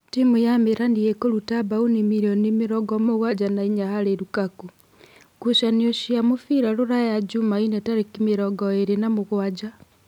Timu ya Mĩrani ĩkũruta mbaũni mirioni mĩrongo-mũgwanja na inya harĩ Rukaku. Ngucanio cia mũbira Ruraya Jumaine tarĩki mĩrongo ĩrĩ na mũgwanja.